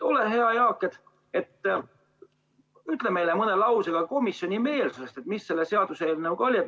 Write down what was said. Ole hea, Jaak, ütle meile mõne lausega, milline oli komisjoni meelsus selle seaduseelnõu suhtes.